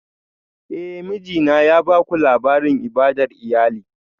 Eh, mijina ya baku labarin ibadar iyali